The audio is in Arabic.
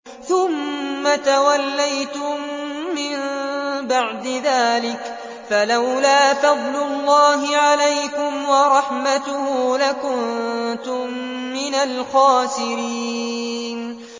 ثُمَّ تَوَلَّيْتُم مِّن بَعْدِ ذَٰلِكَ ۖ فَلَوْلَا فَضْلُ اللَّهِ عَلَيْكُمْ وَرَحْمَتُهُ لَكُنتُم مِّنَ الْخَاسِرِينَ